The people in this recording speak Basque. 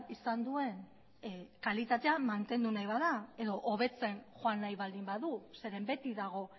izan duen kalitatea mantendu nahi bada edo hobetzen joan nahi baldin badu zeren beti dago